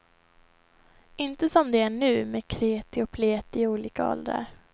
Inte som det är nu, med kreti och pleti i olika åldrar.